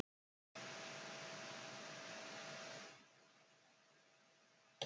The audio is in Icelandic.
Við værum þá alveg eins og við erum í dag, en án heilans.